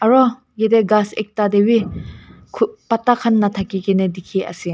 aru jatte gass ekta te bhi patta khan nathaki kina dekhi ase.